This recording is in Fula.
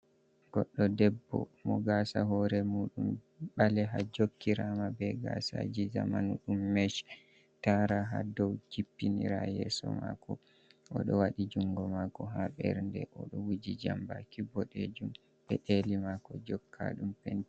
Goɗɗo debbo mo gaasa hoore muuɗum ɓaleeha, jokkiraama be gaasaaji zamanu ɗum mech taara haa dow jippinira yeeso maako, o ɗo waɗi junngo maako haa ɓernde, o ɗo wuji jambaaki boɗeejum, peɗeeli maako jokka ɗum pent.